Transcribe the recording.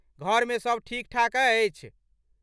घरमे सब ठीकठाक अछि?